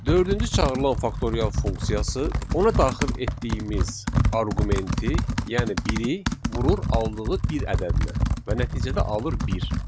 Dördüncü çağırılan faktorial funksiyası ona daxil etdiyimiz arqumenti, yəni biri vurur aldığı bir ədədinə və nəticədə alır bir.